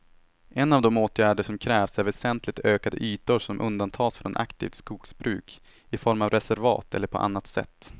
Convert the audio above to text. En av de åtgärder som krävs är väsentligt ökade ytor som undantas från aktivt skogsbruk, i form av reservat eller på annat sätt.